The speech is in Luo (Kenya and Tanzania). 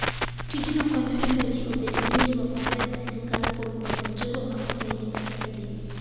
Tijni konyo e miyo ji obed gi winjruok maber gi sirkal kuom konyo jogo ma ok nigi pesa e bengi.